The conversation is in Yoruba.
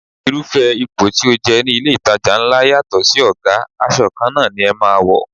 Irúfẹ́ ipò tí o jẹ ní ilé itàjà ńlá yàtọ̀ sí ọ̀gá, aṣọ kanna ni ẹ máa wò.